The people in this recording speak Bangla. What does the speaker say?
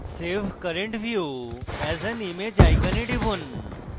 save current view as an image icon টিপুন